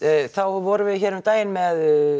þá vorum við hér um daginn með